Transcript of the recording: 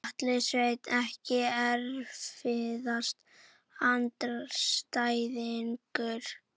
Atli Sveinn EKKI erfiðasti andstæðingur?